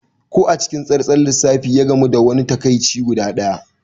Ko a cikin tsantsar lissafi, ya gamu da wani takaici guda ɗaya.